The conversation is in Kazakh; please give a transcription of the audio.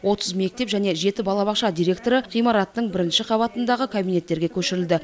отыз мектеп және жеті балабақша директоры ғимараттың бірінші қабатындағы кабинеттерге көшірілді